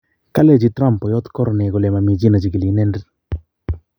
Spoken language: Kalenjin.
kalechi Trump poyoot Corney kole mami chi nechigili inendet